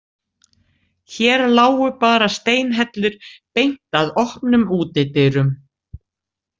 Hér lágu bara steinhellur beint að opnum útidyrum.